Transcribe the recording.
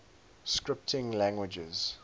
scripting languages